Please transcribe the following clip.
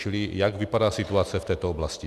Čili jak vypadá situace v této oblasti?